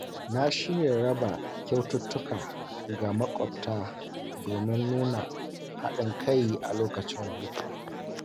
Na shirya raba kyaututtuka ga makwabta domin nuna haɗin kai a lokacin hutu.